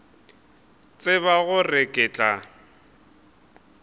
a tseba gore ke tla